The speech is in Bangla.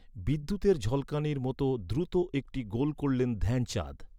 বিদ্যুতের ঝলকানির মতো দ্রুত একটি গোল করলেন ধ্যানচাঁদ।